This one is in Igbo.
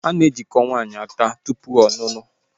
A na-ejiko nwaanyị aka tụpụ ọlụlụ